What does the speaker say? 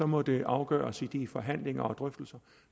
må det afgøres i de forhandlinger og drøftelser